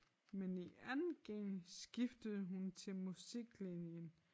Men i 2. G skiftede hun til musiklinjen